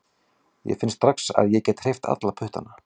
Ég finn strax að ég get hreyft alla puttana